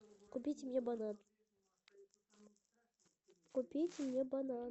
купите мне банан купите мне банан